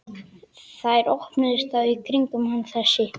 Þær hópuðust þá kringum hann, þessi